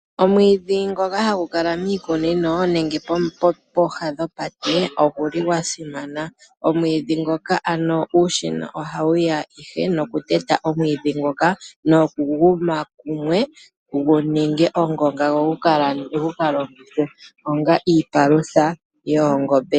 Omwiidhi ngoka hagu kala miikunino nenge pooha dhopate ogwa simana. Uushina ohawu ya ihe nokuteta omwiidhi ngoka nokugu ma kumwe gu ninge ongonga go gu ka longithwe onga iipalutha yoongombe.